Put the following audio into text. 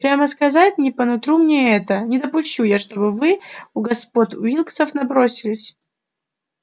прямо сказать не по нутру мне это не допущу я чтобы вы у господ уилксов набросились